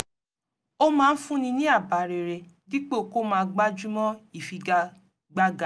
ó máa ń fúnni ní àbá rere dípò kó máa gbájúmọ́ ìfi-ga-gbága